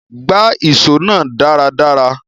Gbá ìso náà dáradára